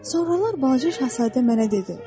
Sonralar balaca şahzadə mənə dedi.